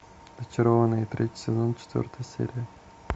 зачарованные третий сезон четвертая серия